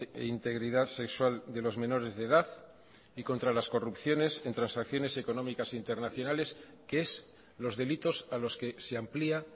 e integridad sexual de los menores de edad y contra las corrupciones en transacciones económicas internacionales que es los delitos a los que se amplía